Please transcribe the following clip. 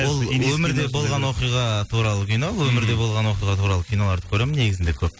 ол өмірде болған оқиға туралы кино өмірде болған оқиға туралы киноларды көремін негізінде көп